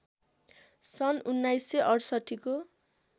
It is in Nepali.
सन् १९६८ को